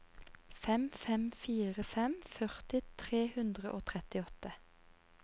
fem fem fire fem førti tre hundre og trettiåtte